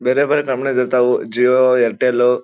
ಬೇರೆ ಬೇರೆ ಕಂಪೆನಿ ದು ಇರ್ತಾವು ಜಿಯೊ ಏರ್ಟೆಲ್ .